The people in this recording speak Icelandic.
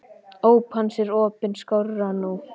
Óp hans er opin skárra nú.